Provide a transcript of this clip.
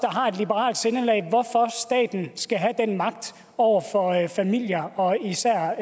har et liberalt sindelag hvorfor staten skal have den magt over for familier og især